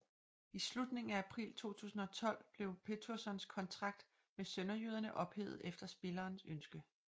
I slutningen af april 2012 blev Péturssons kontrakt med sønderjyderne ophævet efter spilleren ønske